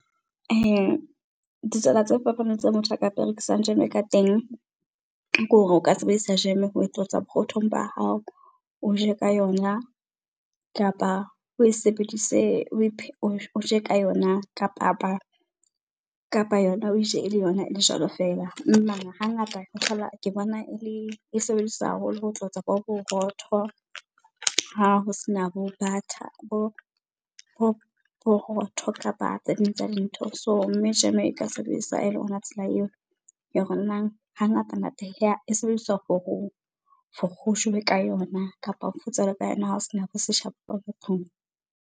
Ditsela tse fapaneng tseo motho a ka berekisang jeme ka teng, ke hore o ka sebedisa jeme ho tlotsa borothong ba hao, o je ka yona kapa o e sebedise , o je ka yona ka papa kapa yona o e je ele yona ele jwalo feela. Hangata ho thola, ke bona e le, e sebediswa haholo ho tlotsa bo borotho ha ho sena bo butter, borotho kapa tse ding tsa dintho. So, mme jeme e ka sebedisa ele ona tsela eo ya hore nang hangata-ngata e sebediswa for ho jowe ka yona, kapa o ka yona hao sena bo seshabo ka .